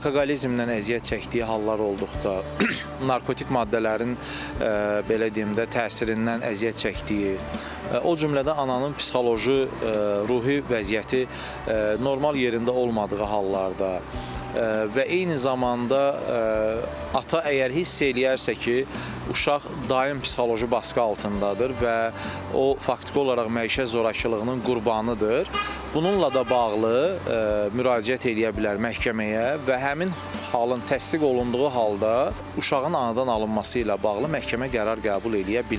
Alkoqolizmdən əziyyət çəkdiyi hallar olduqda, narkotik maddələrin belə deyim də, təsirindən əziyyət çəkdiyi, o cümlə də ananın psixoloji, ruhi vəziyyəti normal yerində olmadığı hallarda və eyni zamanda ata əgər hiss eləyərsə ki, uşaq daim psixoloji basqı altındadır və o faktiki olaraq məişət zorakılığının qurbanıdır, bununla da bağlı müraciət eləyə bilər məhkəməyə və həmin halın təsdiq olunduğu halda uşağın anadan alınması ilə bağlı məhkəmə qərar qəbul eləyə bilər.